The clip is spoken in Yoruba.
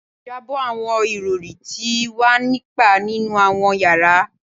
Jabọ awọn irọri ti wa ni pa ninu awọn yara